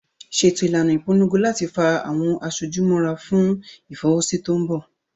Ṣètò ìlànà ìpolongo láti fa àwọn aṣojú mọ́ra fún Ìfọwọ́sí tó mbọ̀